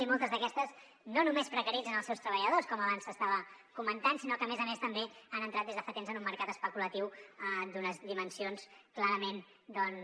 i moltes d’aquestes no només precaritzen els seus treballadors com abans s’estava comentant sinó que a més a més també han entrat des de fa temps en un mercat especulatiu d’unes dimensions clarament doncs